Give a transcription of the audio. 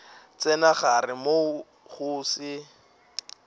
tsena gare moo go se